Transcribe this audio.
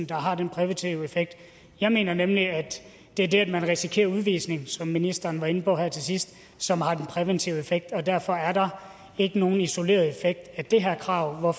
der har den præventive effekt jeg mener nemlig at det er det at man risikerer udvisning som ministeren var inde på her til sidst som har den præventive effekt derfor er der ikke nogen isoleret effekt af det her krav og